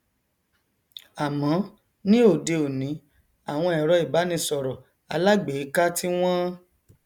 àmọ ní òde òní àwọn ẹrọ ìbánisọrọ alágbèéká tí wọn